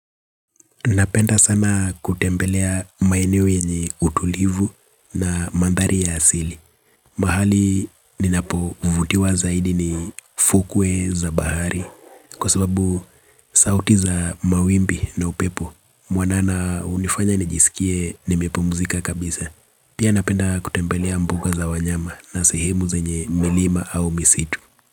Napenda sana kutembelea maeneo yenye utulivu na mandhari ya asili. Mahali ninapovutiwa zaidi ni fukwe za bahari kwa sababu sauti za mawimbi na upepo. Mwanana hunifanya nijisikie nimepumzika kabisa. Pia napenda kutembelea mbuga za wanyama na sehemu zenye milima au misitu.